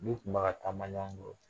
N'u tun bɛ ka taama ɲɔgɔn kɔrɔ